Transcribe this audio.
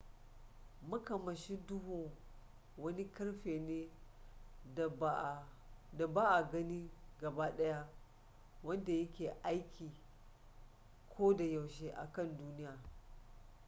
makamashi duhu wani karfi ne da ba a gani gaba daya wanda ya ke aiki ko da yaushe a kan duniya